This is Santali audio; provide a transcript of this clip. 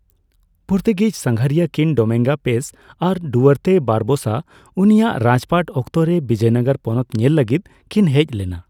ᱯᱩᱨᱛᱩᱜᱤᱡᱽ ᱥᱟᱸᱜᱷᱟᱨᱤᱭᱟᱹ ᱠᱤᱱ ᱰᱚᱢᱤᱝᱜᱳ ᱯᱮᱥ ᱟᱨ ᱰᱩᱣᱟᱨᱛᱮ ᱵᱟᱨᱚᱵᱳᱥᱟ ᱩᱱᱤᱭᱟᱜ ᱨᱟᱡᱽᱯᱟᱴ ᱚᱠᱛᱚᱨᱮ ᱵᱤᱡᱚᱭᱱᱚᱜᱚᱨ ᱯᱚᱱᱚᱛ ᱧᱮᱞ ᱞᱟᱹᱜᱤᱫ ᱠᱤᱱ ᱦᱮᱡ ᱞᱮᱱᱟ ᱾